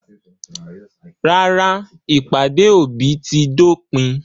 Rárá, ìpàdé òbí ti dópin.